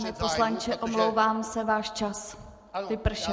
Pane poslanče, omlouvám se, váš čas vypršel.